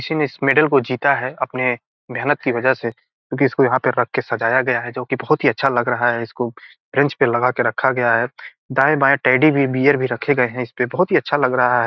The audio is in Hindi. किसी ने एक मैडल को जीता है अपने मेहनत के वजह से क्यूंकि इसको यहाँ पे रख के सजाया गया है जो कि बहुत अच्छा लग रहा है इसको बेंच पे लगा के रखा गया है दाएं-बाएं टेडी भी बियर रखा है इस पे बहुत ही अच्छा लग रहा है।